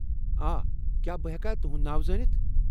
آ ۔ کیٛاہ بہٕ ہٮ۪کا تہنٛد ناو زٲنتھ؟